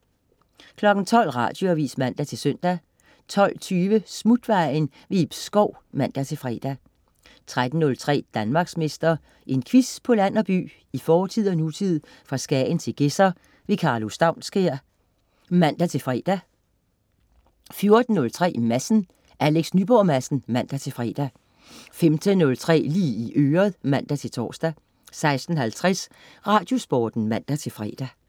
12.00 Radioavis (man-søn) 12.20 Smutvejen. Ib Schou (man-fre) 13.03 Danmarksmester. En quiz på land og by, i fortid og nutid, fra Skagen til Gedser. Karlo Staunskær (man-fre) 14.03 Madsen. Alex Nyborg Madsen (man-fre) 15.03 Lige i øret (man-tors) 16.50 Radiosporten (man-fre)